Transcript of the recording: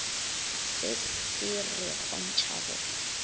se se re kgontša go